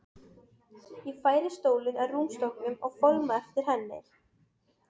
Ég færi stólinn að rúmstokknum og fálma eftir hendi.